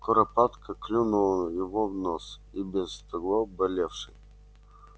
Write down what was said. куропатка клюнула его в нос и без того болевший